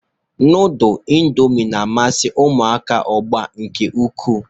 Nudul indomi na-amasi uMụaka ugbụa nke ukwu.